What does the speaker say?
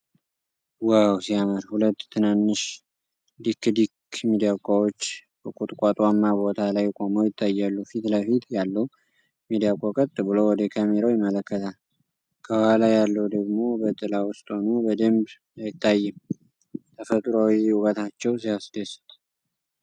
ዋው ሲያምር! ሁለት ትናንሽ ዲክ-ዲክ ሚዳቆዎች በቁጥቋጦማ ቦታ ላይ ቆመው ይታያሉ። ፊት ለፊት ያለው ሚዳቆ ቀጥ ብሎ ወደ ካሜራው ይመለከታል። ከኋላ ያለው ደግሞ በጥላ ውስጥ ሆኖ በደንብ አይታይም። ተፈጥሮአዊ ውበታቸው ሲያስደስት!